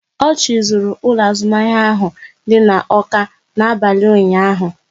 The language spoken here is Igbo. Ochị zuru ụlọ azụmahịa ahụ dị n'Awka n'abalị ụnyaahụ